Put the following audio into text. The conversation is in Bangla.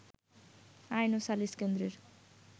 আইন ও সালিশ কেন্দ্রের